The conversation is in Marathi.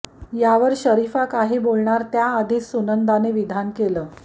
यावर शरीफा काही बोलणार त्याआधीच सुनंदाने विधान केले